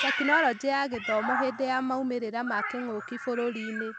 Tekinoronjĩ ya Gĩthomo hĩndĩ ya moimĩrĩra ma kĩng'ũki bũrũri-inĩ.